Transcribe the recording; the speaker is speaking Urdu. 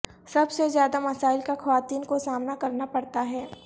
سب سے زیادہ مسائل کا خواتین کو سامنا کرنا پڑتا ہے